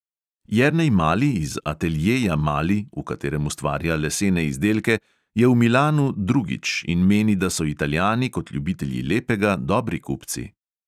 Jernej mali iz ateljeja mali, v katerem ustvarja lesene izdelke, je v milanu drugič in meni, da so italijani kot ljubitelji lepega dobri kupci.